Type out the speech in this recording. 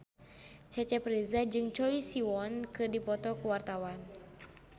Cecep Reza jeung Choi Siwon keur dipoto ku wartawan